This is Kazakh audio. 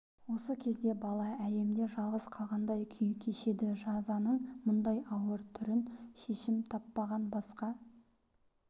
осы кезде бала әлемде жалғыз қалғандай күй кешеді жазаның мұндай ауыр түрін шешім таппаған басқа